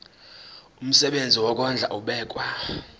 umsebenzi wokondla ubekwa